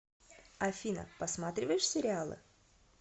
афина посматриваешь сериалы